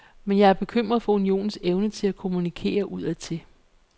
Men jeg er bekymret for unionens evne til at kommunikere udadtil.